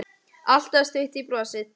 Alltaf stutt í brosið.